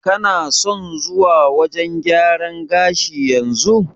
Kana son zuwa wajen gyaran gashi yanzu?